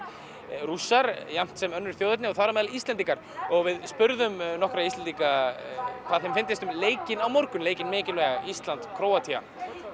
Rússar jafnt sem önnur þjóðerni og þar á meðal Íslendingar og við spurðum nokkra Íslendinga hvað þeim finndist um leikinn á morgun leikinn mikilvæga Ísland Króatía